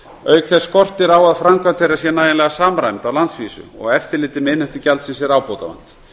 auk þess skortir á að framkvæmd þeirra sé nægilega samræmd á landsvísu og eftirliti með innheimtu gjaldsins er ábótavant